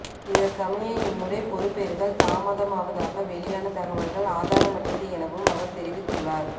இதற்கமைய இம்முறை பெறுபேறுகள் தாமதமாவதாக வௌியான தகவல்கள் ஆதாரமற்றது எனவும் அவர் தெரிவித்துள்ளார்